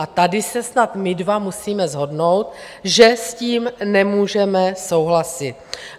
A tady se snad my dva musíme shodnout, že s tím nemůžeme souhlasit.